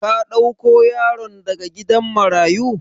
Ka dauko yaron daga gidan marayu?